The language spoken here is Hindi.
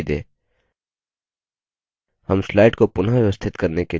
हम slide को पुनःव्यवस्थित करने के लिए slide sorter we का उपयोग करते हैं